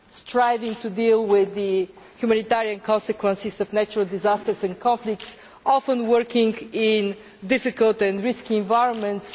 striving to deal with the humanitarian consequences of natural disasters and conflicts, often working in difficult and risky environments.